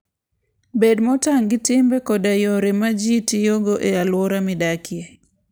Bed motang' gi timbe koda yore ma ji tiyogo e alwora midakie.